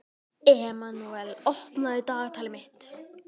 Emanúel, opnaðu dagatalið mitt.